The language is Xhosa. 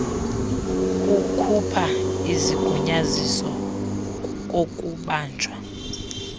kukhupha isigunyaziso kokubanjwa